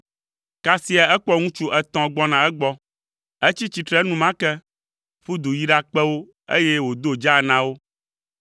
Kasia ekpɔ ŋutsu etɔ̃ gbɔna egbɔ. Etsi tsitre enumake, ƒu du yi ɖakpe wo, eye wòdo dzaa na wo.